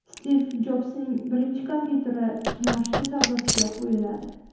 Stiv Jobsning birinchi kompyuteri kimoshdi savdosiga qo‘yiladi.